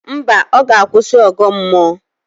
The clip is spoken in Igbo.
Mba, ọ ga-akwụsị ọgọ mmụọ